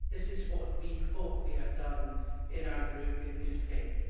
This is what we hope we have done in our group in good faith.